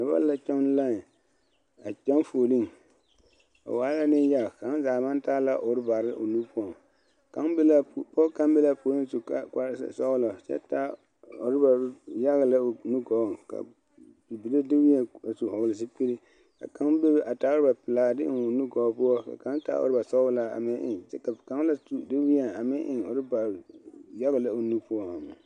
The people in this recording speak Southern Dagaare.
Noba la kyɔŋ lae a kyɔŋ fuuli ba waa la Neŋyaga kaŋa zaa maŋ taa la ɔrabare o nu poɔŋ kaŋ be la a puoriŋ pɔge kaŋa be la a puori su kpare ze sɔglɔ kyɛ taa ɔraba yaga lɛ o nu gɔɔŋ ka bibile deweɛ a tusukiri ka kaŋa bebe a taa ɔraba pelaa a de eŋ o nu gɔɔ poɔ ka kaŋa taa ɔraba sɔglaa ka kaŋa la tu de weɛ a meŋ yaga lɛ o nu poɔ